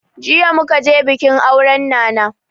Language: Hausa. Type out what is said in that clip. Jiya muka je bikin auren nana